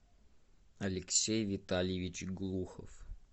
алексей витальевич глухов